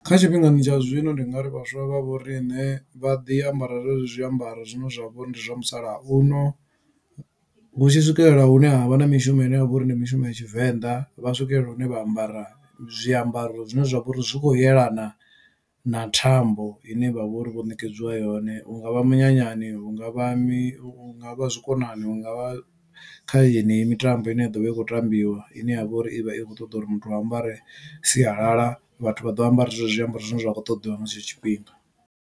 Kha tshifhingani tsha zwino ndi nga ri vhaswa vha vho riṋe vha ḓi ambara zwenezwi zwiambaro zwine zwa vhori ndi zwa musalauno hu tshi swikelela hune ha vha na mishumo ine ya vha uri ndi mishumo ya Tshivenḓa. Vha swikelela hune vha ambara zwiambaro zwine zwa vha uri zwi khou yelana na thambo i ne vha vha uri vho ṋekedziwa yone hungavha minyanyani, hungavha mi hunga vha zwikonani, hungavha kha yeneyi mitambo ine ya ḓovha i kho tambiwa, ine ya vha uri ivha i kho ṱoḓa uri muthu a ambare sialala vhathu vha ḓo ambara zwenezwo zwiambaro zwine zwa kho ṱoḓiwa nga tshetsho tshifhinga.